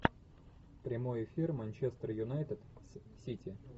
прямой эфир манчестер юнайтед с сити